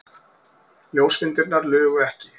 Ljósmyndirnar lugu ekki.